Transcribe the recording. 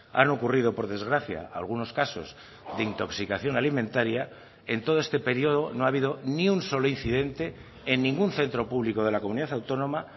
han ocurrido por desgracia algunos casos de intoxicación alimentaria en todo este periodo no ha habido ni un solo incidente en ningún centro público de la comunidad autónoma